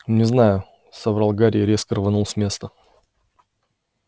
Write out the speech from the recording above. не знаю соврал гарри и резко рванул с места